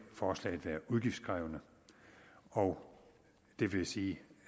forslaget være udgiftskrævende og det vil sige